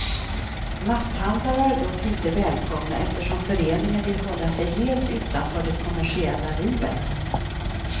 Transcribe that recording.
Matthandlare är dock inte välkomna, eftersom föreningen vill hålla sig helt utanför det kommersiella livet.